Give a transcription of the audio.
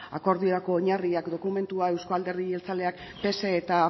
akordiorako oinarriak dokumentua euskal alderdi jeltzaleak pse eta